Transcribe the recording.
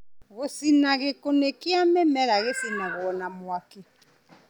Gũcina. Gĩkunĩko kĩa mĩmera gĩcinwo na mwaki